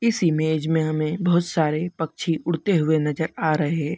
इस इमेज में हमें बहोत सारे पक्षी उड़ते हुए नज़र आ रहे।